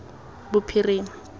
bophirima